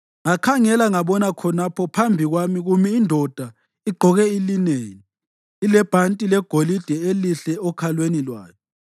ngakhangela ngabona khonapho phambi kwami kumi indoda igqoke ilineni, ilebhanti legolide elihle okhalweni lwayo.